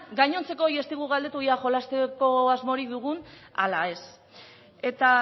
gainontzekoei ez digu galdetu ia jolasteko asmorik dugun ala ez eta